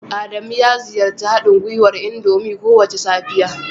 Adamu ya ziyarci haɗin gwiwar indomie kowace safiya